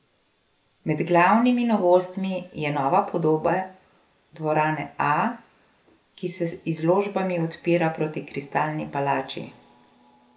Med glavnimi novostmi je nova podoba Dvorane A, ki se z izložbami odpira proti Kristalni palači.